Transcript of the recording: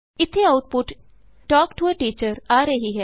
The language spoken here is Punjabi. ਇਥੇ ਆਉਟਪੁਟ ਤਲਕ ਟੋ a ਟੀਚਰ ਆ ਰਹੀ ਹੈ